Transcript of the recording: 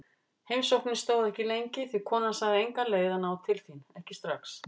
Heimsóknin stóð ekki lengi því konan sagði enga leið að ná til þín, ekki strax.